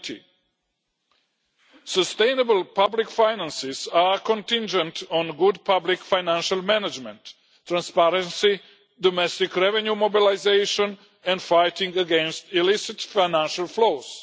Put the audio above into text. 20. Sustainable public finances are contingent on good public financial management, transparency, domestic revenue mobilisation and fighting against illicit financial flows.